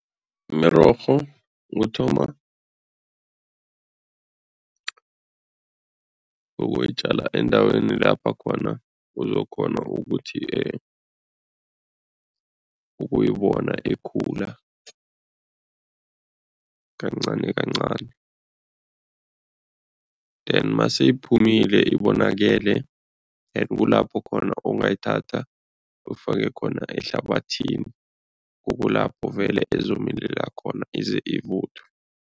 Imirorho uthoma ukuyitjala endaweni lapha khona uzokghona ukuthi ukuyibona ikhula kancanikancani then maseyiphumile, ibonakele kukulapho khona ongayithatha ufake khona ehlabathini, kukulapho vele izokumilela khona ize ivuthwe.